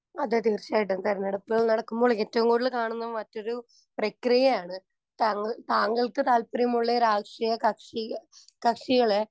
speaker 1 അതേ തീർച്ചയായിട്ടും തിരഞ്ഞെടുപ്പ് നടക്കുമ്പോൾ ഏറ്റവും കൂടുതൽ കാണുന്ന മറ്റൊരു പ്രക്രിയയാണ് താങ്കൾ താങ്കൾക്ക് താല്പര്യമുള്ളയൊരാഷ്ട്രീയകക്ഷി കക്ഷികളെ